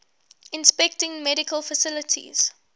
inspecting medical facilities